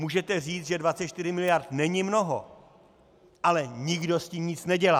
Můžete říct, že 24 mld. není mnoho, ale nikdo s tím nic nedělá.